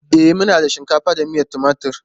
E, muna da shinkafa da miyan timatur.